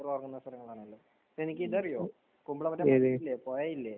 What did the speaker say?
ആണല്ലേ. നിനക്ക് ഇത് അറിയോ? കുമ്പളത്ത് ഇതില്ലേ? കുറെ ഇല്ലേ?